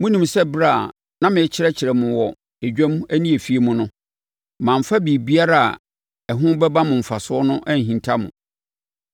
Monim sɛ ɛberɛ a na merekyerɛkyerɛ mo wɔ dwam ne afie mu no, mamfa biribiara a ɛho bɛba mo mfasoɔ no anhinta mo.